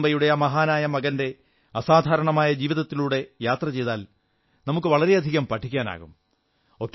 ഭാരതാംബയുടെ ആ മഹാനായ മകന്റെ അസാധാരണമായ ജീവിതത്തിലൂടെ യാത്ര ചെയ്താൽ നമുക്ക് വളരെയധികം പഠിക്കാനാകും